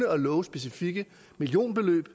og love specifikke millionbeløb